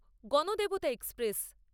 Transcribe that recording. Ganadevata express